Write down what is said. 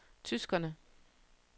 tyskerne